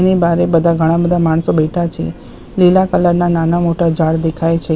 અને બારે બધા ઘણા બધા માણસો બેઠા છે. લીલા કલર ના નાના મોટા ઝાડ દેખાય છે.